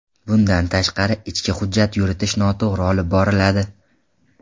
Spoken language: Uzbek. Bundan tashqari, ichki hujjat yuritish noto‘g‘ri olib boriladi.